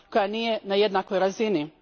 koja nije na jednakoj razini.